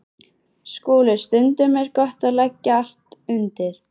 SKÚLI: Stundum er gott að leggja allt undir.